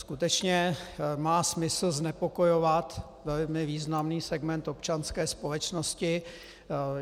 Skutečně má smysl znepokojovat velmi významný segment občanské společnosti?